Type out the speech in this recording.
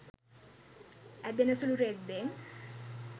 ඇදෙන සුළු රෙද්දෙන්